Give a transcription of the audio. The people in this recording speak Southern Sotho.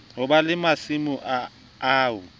ho ba le masimo ao